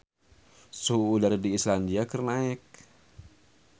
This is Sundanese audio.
Suhu udara di Islandia keur naek